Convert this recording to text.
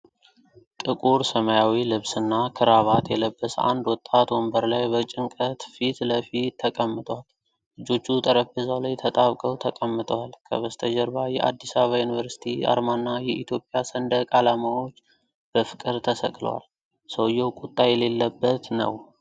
ጥቁር ሰማያዊ ልብስና ክራባት የለበሰ አንድ ወጣት ወንበር ላይ በጭንቀት ፊት ለፊት ተቀምጧል። እጆቹ ጠረጴዛው ላይ ተጣብቀው ተቀምጠዋል፤ ከበስተጀርባ የአዲስ አበባ ዩኒቨርሲቲ አርማና የኢትዮጵያ ሰንደቅ ዓላማዎች በፍቅር ተሰቅለዋል። ሰውየው ቁጣ የሌለበት ነው።